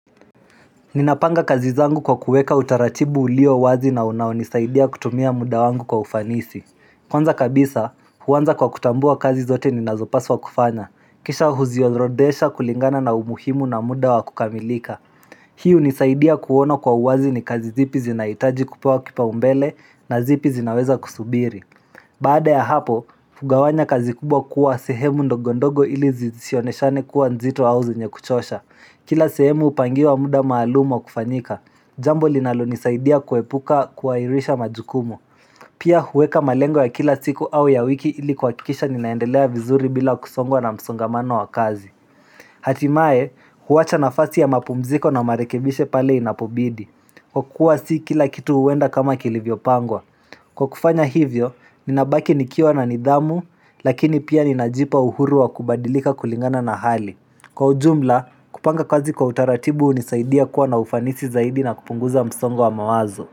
Ninapanga kazi zangu kwa kuweka utaradhibu ulio wazi na unaonisaidia kutumia muda wangu kwa ufanisi Kwanza kabisa huwanza kwa kutambua kazi zote ni nazopaswa kufanya kisha huziorodesha kulingana na umuhimu na muda wa kukamilika Hii unisaidia kuona kwa uwazi ni kazi zipi zinaitaji kupewa kipao mbele na zipi zinaweza kusubiri Baada ya hapo, kugawanya kazi kubwa kuwa sehemu ndogondogo ili zisioneshane kuwa nzito au zenye kuchosha Kila sehemu upangiwa muda maalum wa kufanyika Jambo linalo nisaidia kuepuka kuairisha majukumu Pia huweka malengo ya kila siku au ya wiki ili kuhakikisha ninaendelea vizuri bila kusongwa na msongamano wa kazi Hatimaye, huwacha nafasi ya mapumziko na marekebisho pale inapobidi Kwa kuwa si kila kitu uwenda kama kilivyo pangwa Kwa kufanya hivyo, ninabaki nikiwa na nidhamu, lakini pia ninajipa uhuru wa kubadilika kulingana na hali. Kwa ujumla, kupanga kazi kwa utaratibu unisaidia kuwa na ufanisi zaidi na kupunguza msongo wa mawazo.